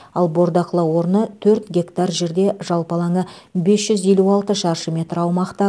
ал бордақылау орны төрт гектар жерде жалпы алаңы бес жүз елу алты шаршы метр аумақта